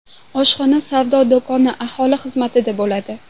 Oshxona, savdo do‘koni aholi xizmatida bo‘ladi.